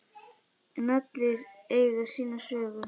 En allir eiga sína sögu.